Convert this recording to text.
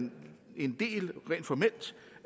en del